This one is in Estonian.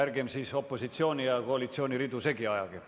Ärgem siis opositsiooni ja koalitsiooni ridu segi ajagem.